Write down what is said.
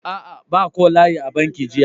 Aa, ba ko layi a banki jiya.